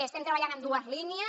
estem treballant en dues línies